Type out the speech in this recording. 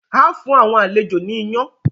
ào fún àwọn àlejò ní iyán.